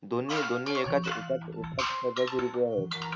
दोनी दोनी एकात